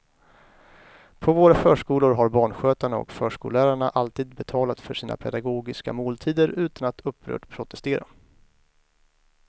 På våra förskolor har barnskötarna och förskollärarna alltid betalat för sina pedagogiska måltider utan att upprört protestera.